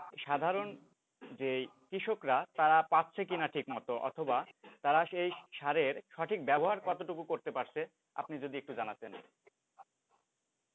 সাধারণ যে কৃষকরা তারা পাচ্ছে কিনা ঠিক মতো অথবা তারা এই সারের সঠিক ব্যবহার কতটুকু করতে পারছে আপনি যদি একটু জানাতেন